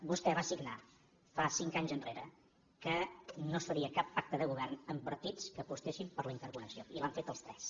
vostè va signar fa cinc anys enrere que no es faria cap pacte de govern amb partits que apostessin per la interconnexió i l’han fet els tres